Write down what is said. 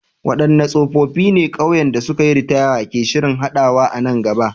Wadanne siffofi ne ƙauyen da suka yi ritaya ke shirin haɗawa a nan gaba?